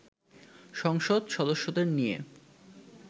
সংসদ সদস্যদের নিয়ে